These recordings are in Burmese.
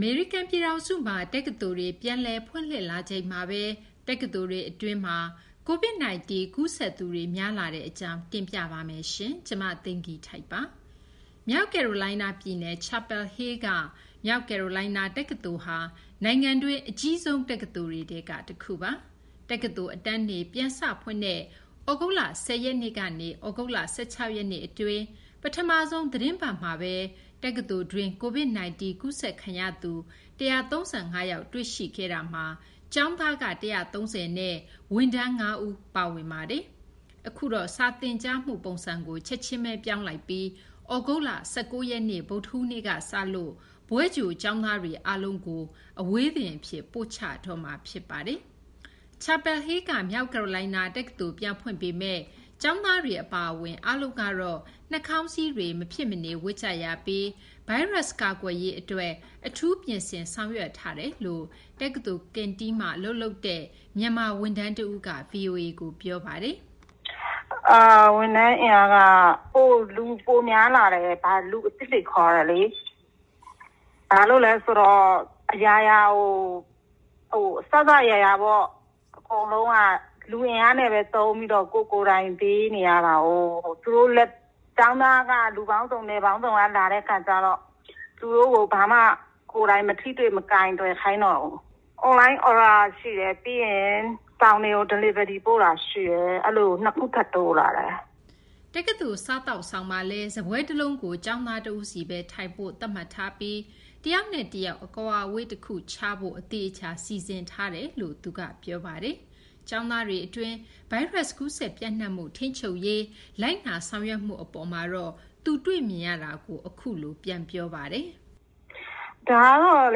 မေရိကန် ပြည်ထောင်စုမှာ တက္ကသိုလ်တွေ ပြန်လည် ဖွင့်လှစ်လာချိန်မှာဘဲ တက္ကသိုလ်တွေ အတွင်း COVID 19 ကူးစက်သူတွေ များလာတဲ့ အကြောင်း မ သိင်္ဂ ီထိုက် တင်ပြပေးပါမယ်။ မြောက်ကယ်ရိုလိုင်းနား ပြည်နယ် Chapel Hill က မြောက်ကယ်ရိုလိုင်းနား တက္ကသိုလ်ဟာ နိုင်ငံတွင်း အကြီးဆုံး တက္ကသိုလ်တွေထဲက တခုပါ။ တက္ကသိုလ် အတန်းတွေ ပြန်စဖွင့်တဲ့ သြဂုတ်လ ၁၀ ရက်နေ့ကနေ သြဂုတ်လ ၁၆ ရက်နေ့ အတွင်း ပထမဆုံး သီတင်းပတ် အတွင်းမှာဘဲ တက္ကသိုလ်တွင်း COVID-19 ကူးစက်ခံရသူ ၁၃၅ ယောက် တွေ့ရှိခဲ့တာမှာ ကျောင်းသားက ၁၃၀ နဲ့ ဝန်ထမ်း ၅ ဦး ပါဝင်ပါတယ်။ အခုတော့ စာသင်ကြားမှု ပုံစံကို ချက်ချင်းဘဲ ပြောင်းလိုက်ပြီး သြဂုတ်လ ၁၉ ရက်နေ့ ဗုဒ္ဓဟူးနေ့က စလို့ ဘွဲ့ကြို ကျောင်းသားတွေ အားလုံးကို အဝေးသင်အဖြစ် ပို့ချတော့မှာ ဖြစ်ပါတယ်။ Chapel Hill က မြောက်ကယ်ရိုလိုင်းနား တက္ကသိုလ် ပြန်ဖွင့်ပေမယ့် ကျောင်းသားတွေ အပါအဝင် အားလုံးကတော့ နှာခေါင်းစည်းတွေ မဖြစ်မနေ ဝတ်ကြရပြီး ဗိုင်းရပ်စ် ကာကွယ်ရေး အတွက် အထူး ပြင်ဆင်ဆောင်ရွက်ထားကြောင်း တက္ကသိုလ် Canteen ဝန်ထမ်းတဦးက ဗွီအိုအေကို ပြောပါတယ်။ “ဝန်ထမ်း အင်အားက လူပိုများလာတယ်။ လူအသစ်တွေ ခေါ်တယ်လေ။ အစစ အရာရာ အကုန်လုံးက လူအင်အားသုံးပြီး ကိုယ်ကိုယ်တိုင် ပေးနေရတာကိုး။ ကျောင်းသားက လူပေါင်းစုံ နယ်ပေါင်းစုံက လာတဲ့ အခါကျတော့ သူတို့ကို ဘာမှ မထိတွေ့ မကိုင်တွယ် ခိုင်းတော့ဘူး။ နောက် အွန်လိုင်း အော်ဒါ ရှိတယ် အဆောင်တွေကို ပို့ပေးတာ ရှိတယ်။ ၂ ခု ထပ်တိုးလာတယ်။” တက္ကသိုလ် Canteen မှာလည်း စာပွဲ တလုံးကို ကျောင်းသား တဦးစီဘဲ ထိုင်ဖို့ သတ်မှတ်ထားပြီး တယောက်နဲ့ တယောက် အကွာအဝေး တခုခြားဖို့ အသေအချာ စီစဉ်ထားတယ်လို့ လည်းသူက ပြောပါတယ်။ ကျောင်းသားတွေ အတွင်း ဗိုင်းရပ်စ် ကူးစက် ပျံ့နှံ့မှု ထိန်းချုပ်ရေး လိုက်နာဆောင်ရွက်မှု အပေါ်မှာတော့ သူတွေ့ရတာကို အခုလို ပြောပါတယ်။ “ ဒါကတော့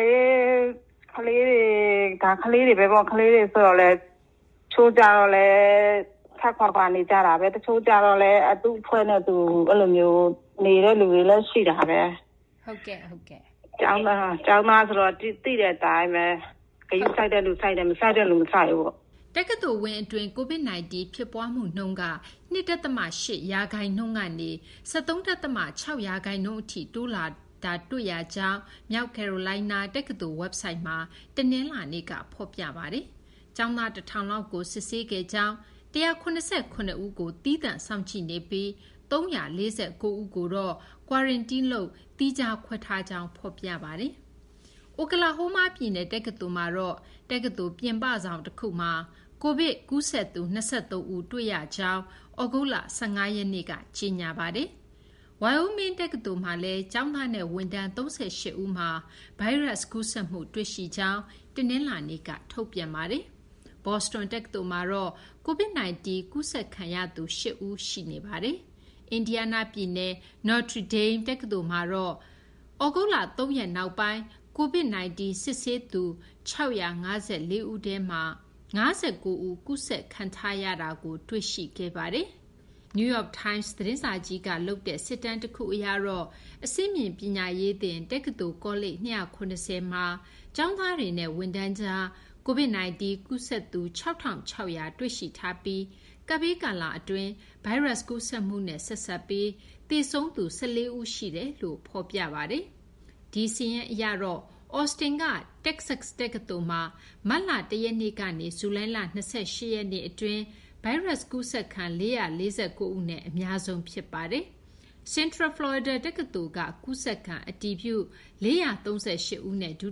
လေ ကလေးတွေကတော့ ကလေးတွေဘဲပေါ့။ တချို့ကျတော့လည်း ခပ်ခွာခွာ နေကြတာဘဲ။ တချို့ကြတော့လည်း သူ့အဖွဲ့နဲ့သူဘဲ။ သိတဲ့ အတိုင်းဘဲ ဂရုစိုက်တဲ့သူ စိုက်တယ်၊ မစိုက်တဲ့သူ မစိုက်ဘူးပေါ့။” တက္ကသိုလ် ဝင်း အတွင်း COVID-19 ဖြစ်ပွားမှုနှုန်းက ၂ ဒသမ ၈ ရာခိုင်နှုန်းကနေ ၁၃ ဒသမ ၆ ရာခိုင်နှုန်း အထိ တိုးလာတာတွေ့ရကြောင်း မြောက်ကယ်ရိုလိုင်းနား တက္ကသိုလ် ဝက်ဘ်ဆိုက်မှာ တနလာၤနေ့ က ဖော်ပြခဲ့ပါတယ်။ ကျောင်းသား ၁၀၀၀ လောက်ကို စစ်ဆေးခဲ့ကြောင်း၊ ၁၇၇ ဦးကို သီးသန့်စောင့်ကြည့်နေပြီး ၃၄၉ ဦးကိုတော့ Quarantine လုပ် သီးခြား ခွဲထားကြောင်းလည်း ဖော်ပြပါတယ်။ အိုကလာဟိုးမား ပြည်နယ် တက္ကသိုလ်မှာတော့ တက္ကသိုလ် ပြင်ပဆောင် တခုမှာ COVID ကူးစက်သူ ၂၃ ဦး တွေ့ရကြောင်း သြဂုတ်လ ၁၅ ရက်နေ့က ကြေညာပါတယ်။ ပြင်ပ ဆောင် တခုလုံးကို သီးခြားခွဲထားပြီး အပြင်ထွက်ခွင့်လည်း တားမြစ်မှာ ဖြစ်ပါတယ်။ Wyoming တက္ကသိုလ်မှာလည်း ကျောင်းသားနဲ့ ဝန်ထမ်း ၃၈ ဦးမှာ ဗိုင်းရပ်စ်ကူးစက်မှု တွေ့ရှိကြောင်း တနလာၤနေ့က ထုတ်ပြန်ပါတယ်။ ဘော့စတွန် တက္ကသိုလ်မှာတော့ COVID-19 ကူးစက်ခံရသူ ၈ ဦး တွေ့ရှိထားပါတယ်။ အင်ဒီးယားနား ပြည်နယ် Notre Dame တက္ကသိုလ်မှာတော့ သြဂုတ်လ ၃ ရက်နောက်ပိုင်း COVID -19 စစ်ဆေးသူ ၆၅၄ ဦးထဲမှာ ၅၉ ဦး ကူးစက်ခံထားရတာကို တွေ့ရှိခဲ့ပါတယ်။ New York Times သတင်းစာကြီးက လုပ်တဲ့ စစ်တမ်း တခုအရတော့ အဆင့်မြင့် ပညာရေးသင် တက္ကသိုလ် ကောလိပ် ၂၇၀ မှာ ကျောင်းသားတွေနဲ့ ဝန်ထမ်းတွေကြား COVID-19 ကူးစက်သူ ၆,၆၀၀ တွေ့ရှိထားပြီး ကပ်ဘေးကာလအတွင်း ဗိုင်းရပ်စ် ကူးစက်မှုနဲ့ ဆက်စပ်ပြီး သေဆုံးသူ ၁၄ ဦး ရှိတယ်လို့ ဖော်ပြပါတယ်။ ဒီစာရင်းထဲမှာတော့ Austin က တက္ကဆက် တက္ကသိုလ်မှာ မတ်လ ၁ ရက်နေ့ကနေ ဇူလိုင်လ ၂၈ ရက်နေ့ အတွင်း ဗိုင်းရပ်စ် ကူးစက်ခံ ၄၄၉ ဦးနဲ့ အများဆုံး ဖြစ်ပါတယ်။ Central Florida တက္ကသိုလ်က ကူးစက်ခံ အတည်ပြု ၄၃၈ ဦးနဲ့ ဒု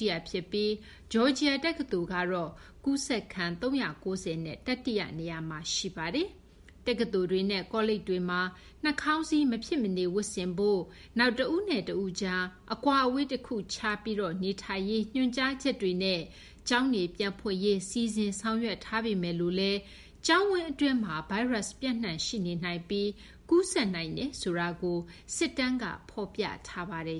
တိယ ဖြစ်ပြီး Georgia တက္ကသိုလ်ကတော့ ကူးစက်ခံ ၃၉၀ နဲ့ တတိယ နေရာမှာ ရှိပါတယ်။ တက္ကသိုလ်တွေနဲ့ ကောလိပ်တွေမှာ နှာခေါင်းစည်း မဖြစ်မနေ ဝတ်ဆင်ဖို့၊ နောက် တဦးနဲ့ တဦးကြား အကွာအဝေး တခုခြားပြီး နေထိုင်ရေး ညွှန်ကြားချက်တွေနဲ့ ကျောင်းတွေ ပြန်ဖွင့်ရေး စီစဉ်ဆောင်ရွက်ထားပေမယ်လို့လည်း ကျောင်းဝင်း အတွင်းမှာ ဗိုင်းရပ်စ် ပျံ့နှံ့ ရှိနေနိုင်ပြီး ကူးစက်နိုင်တယ်ဆိုတာကို စစ်တမ်းက ဖော်ပြထားပါတယ်